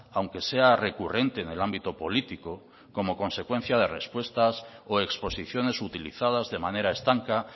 aunque sea recurrente en el ámbito político como consecuencia de respuestas o exposiciones utilizadas de manera estanca